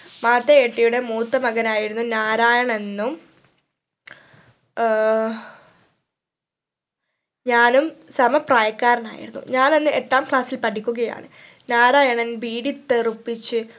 മാതയ് എട്ടിയുടെ മൂത്തമകനായിരുന്ന നാരായണ നും ഏർ ഞാനും സമ പ്രായക്കാരനായിരുന്നു ഞാൻ അന്ന് എട്ടാം class ൽ പഠിക്കുകയാണ് നാരായണൻ ബീഡി തെറുപ്പിച്ച്